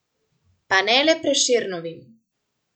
Pa ne le Prešernovim.